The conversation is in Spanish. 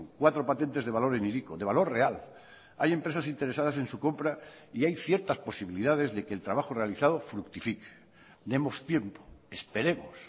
cuatro patentes de valor en hiriko de valor real hay empresas interesadas en su compra y hay ciertas posibilidades de que el trabajo realizado fructifique demos tiempo esperemos